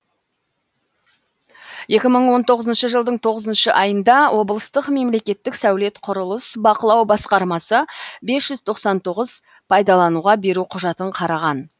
екі мың он тоғызыншы жылдың тоғызыншы айында облыстық мемлекеттік сәулет құрылыс бақылау басқармасы бес жүз тоқсан тоғыз пайдалануға беру құжатын қараған